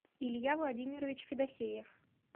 илья владимирович федосеев